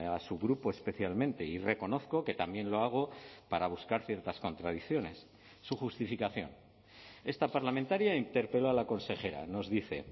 a su grupo especialmente y reconozco que también lo hago para buscar ciertas contradicciones su justificación esta parlamentaria interpeló a la consejera nos dice